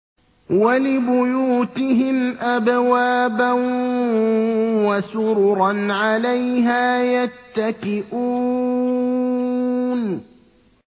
وَلِبُيُوتِهِمْ أَبْوَابًا وَسُرُرًا عَلَيْهَا يَتَّكِئُونَ